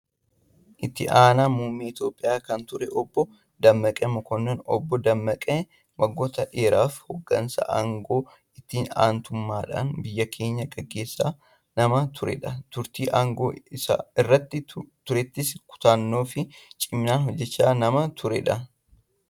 Itti aanaa muummee Itoophiyaa kan turan Obbo Dammaqaa Mokonnon. Obbo Dammaqaan waggoota dheeraaf hooggansa aangoo itti aantuummaadhaan biyya keenya gaggeessaa nama turedha. Turtii aangoo irra turettis kutannoo fi ciminaan hojjechaa nama turedha.